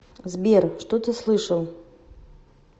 сбер что ты слышал